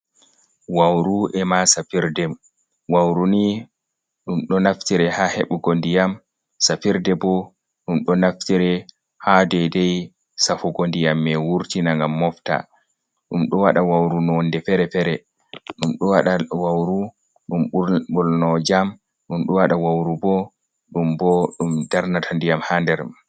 Wàuru e ma safirde wauru ni dum do naftire ha hebugo ndiyam safirde bo dum do naftire ha dedai safugo diyam mai wurtina ngam mofta. Ɗum do wada wauru nonde fere-fere dumdo wada wauru dum bolno jam, dum ɗo wada wauru bo ɗum bo dum darnata ndiyam ha nder.